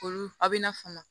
Olu a bɛ na fama